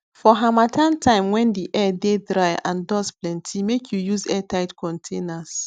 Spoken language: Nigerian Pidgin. for harmattan time when di air dey dry and dust plenty make you use airtight containers